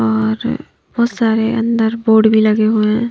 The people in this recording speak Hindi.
और बहुत सारे अंदर बोर्ड भी लगे हुए हैं।